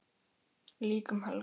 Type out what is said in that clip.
Líka um helgar.